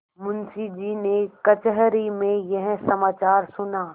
मुंशीजी ने कचहरी में यह समाचार सुना